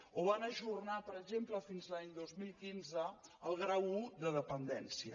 o van ajornar per exemple fins a l’any dos mil quinze el grau un de dependència